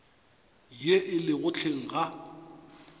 ye e lego hleng ga